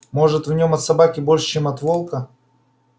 может в нем от собаки больше чем от волка